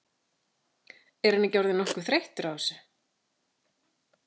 En er hann ekki orðinn nokkuð þreyttur á þessu?